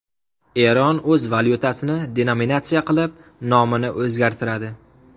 Eron o‘z valyutasini denominatsiya qilib, nomini o‘zgartiradi.